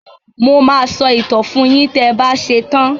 Mo máa sọ ìtàn fun yín tẹ ba ṣetán.